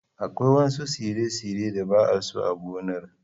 Akwai wasu tsire-tsire da ba'a so a gonar.